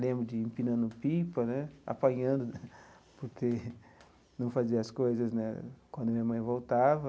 Lembro de empinando pipa né, apanhando, porque não fazia as coisas né quando minha mãe voltava.